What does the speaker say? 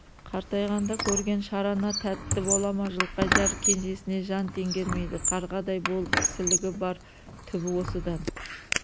қартайғанда көрген шарана тәтті бола ма жылқайдар кенжесіне жан теңгермейді қарғадай болып кісілігі бар түбі осыдан